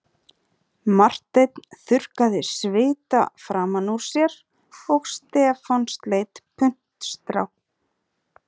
Marteinn þurrkaði svita framan úr sér og Stefán sleit puntstrá